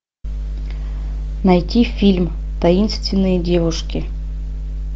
найти фильм таинственные девушки